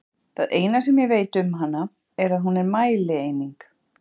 Það eina sem ég veit um hana er að hún er mælieining!